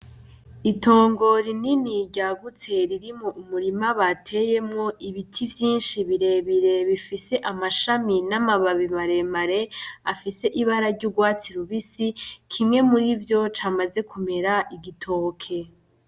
Itongo rinini ryagutse ririmwo umurima bateyemwo ibiti vyinshi birebire, bifise amashami n'amababi maremare, afise ibara ry'urwatsi rubisi. Kimwe murivyo camaze kumera igitoke.